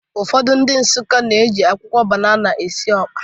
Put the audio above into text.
Ụfọdụ ndị Nsụka na-eji akwụkwọ banana esi ọkpa